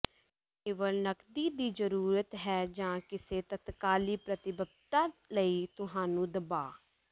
ਕੇਵਲ ਨਕਦੀ ਦੀ ਜ਼ਰੂਰਤ ਹੈ ਜਾਂ ਕਿਸੇ ਤਤਕਾਲੀ ਪ੍ਰਤੀਬੱਧਤਾ ਲਈ ਤੁਹਾਨੂੰ ਦਬਾਅ